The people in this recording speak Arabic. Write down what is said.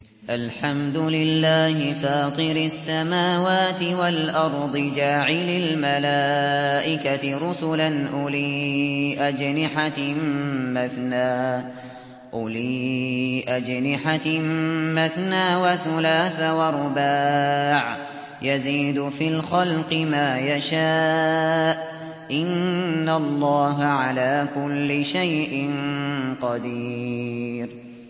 الْحَمْدُ لِلَّهِ فَاطِرِ السَّمَاوَاتِ وَالْأَرْضِ جَاعِلِ الْمَلَائِكَةِ رُسُلًا أُولِي أَجْنِحَةٍ مَّثْنَىٰ وَثُلَاثَ وَرُبَاعَ ۚ يَزِيدُ فِي الْخَلْقِ مَا يَشَاءُ ۚ إِنَّ اللَّهَ عَلَىٰ كُلِّ شَيْءٍ قَدِيرٌ